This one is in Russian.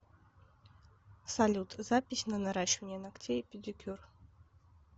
салют запись на наращивание ногтей и педикюр